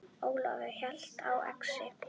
Ólafur hélt á exi.